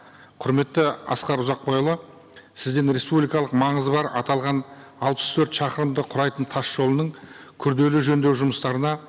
құрметті асқар ұзақбайұлы сізден республикалық маңызы бар аталған алпыс төрт шақырымды құрайтын тас жолының күрделі жөндеу жұмыстарына